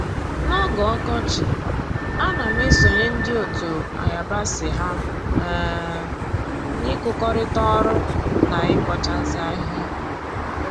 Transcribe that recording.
N'oge ọkọchị, a na m esonye ndị otu ayabasị ha um na-ịkụkọrịta ọrụ na ịbọchasị ahịhịa